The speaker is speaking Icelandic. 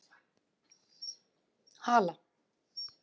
Hala